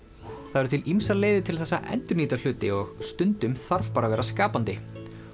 það eru ýmsar leiðir til þess að endurnýta hluti og stundum þarf bara að vera skapandi